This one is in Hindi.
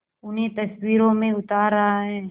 उन्हें तस्वीरों में उतार रहा है